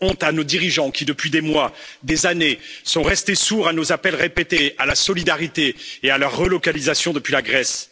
Honte à nos dirigeants qui, depuis des mois, des années, sont restés sourds à nos appels répétés à la solidarité et à leur relocalisation depuis la Grèce.